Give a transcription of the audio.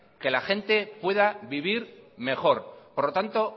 que la gente pueda vivir mejor por lo tanto